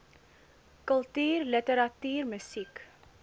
kultuur literatuur musiek